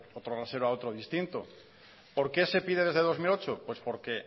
otro rasero a otro distinto por qué se pide desde dos mil ocho pues porque